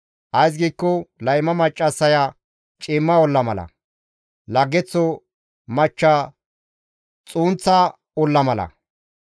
Ays giikko layma maccassaya ciimma olla mala; laggeththo machcha xunththa olla mala.